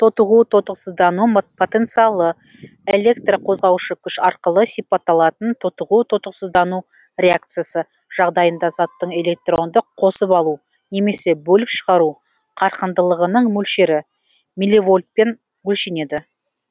тотығу тотықсыздану потенциалы электрқозғаушы күш арқылы сипатталатын тотығу тотықсыздану реакциясы жағдайында заттың электронды қосып алу немесе бөліп шығару қарқындылығының мөлшері милливольтпен өлшенеді